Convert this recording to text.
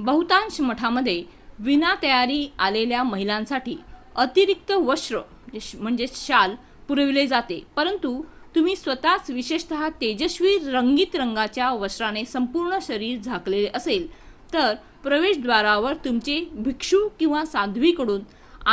बहुतांश मठांमध्ये विना तयारी आलेल्या महिलांसाठी अतिरिक्त वस्त्र शाल पुरवले जाते परंतु तुम्ही स्वतःच विशेषत: तेजस्वी रंगीत रंगाच्या वस्त्राने संपूर्ण शरीर झाकलेले असेल तर प्रवेशद्वारावर तुमचे भिक्षू किंवा साध्वीकडून